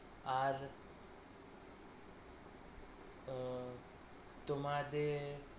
তোমাদের